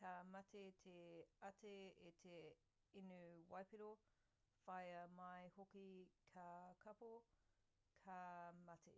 ka mate te ate i te inu waipiro whāia mai hoki ka kāpō ka mate